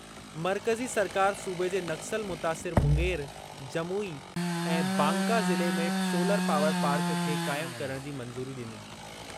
मर्कज़ी सरकार सूबे जे नक्सल मुतासिर मुंगेर, जमुई ऐं बांका ज़िले में सोलर पावर पार्क खे क़ाइम करणु जी मंज़ूरी ॾिनी।